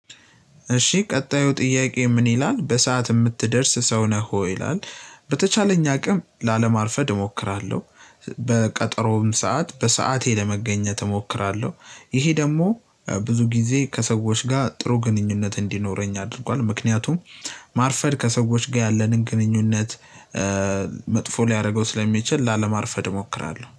እሺ ቀጣዩ ጥያቄ ምን ይላል በሰአት የምትደርስ ሰው ነህ ወይ ይላል? በተቻለኝ አቅም ላለማርፈድ እሞክራለሁ። በቀጠሮውም ሰዓት በሰአቴ ለመገኘት እሞክራለሁ። ይሄ ደግሞ ብዙ ጊዜ ከሰዎች ጋር ጥሩ ግንኙነት እንዲኖረኝ አድርጓል። ምክንያቱም ማርፈድ ከሰዎች ጋር ያለንን ግንኙነት። መጥፎ ሊያደርገው ስለሚችል ላለማርፈድ እሞክራለሁ